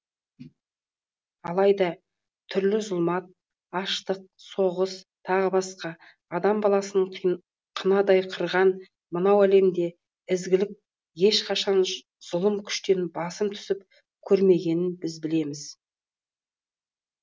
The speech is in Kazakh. алайда түрлі зұлмат аштық соғыс тағы басқа адам баласын қынадай қырған мынау әлемде ізгілік ешқашан зұлым күштен басым түсіп көрмегенін біз білеміз